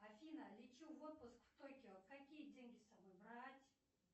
афина лечу в отпуск в токио какие деньги с собой брать